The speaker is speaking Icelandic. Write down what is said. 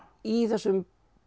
í þessum